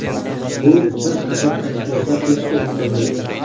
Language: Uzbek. Bu bir qator kashfiyotlar qilishga imkon berdi.